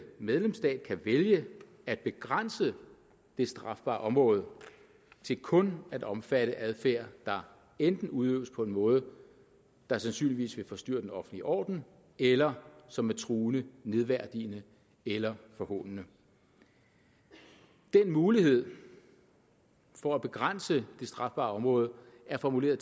medlemsstat kan vælge at begrænse det strafbare område til kun at omfatte adfærd der enten udøves på en måde der sandsynligvis vil forstyrre den offentlige orden eller som er truende nedværdigende eller forhånende den mulighed for at begrænse det strafbare område er formuleret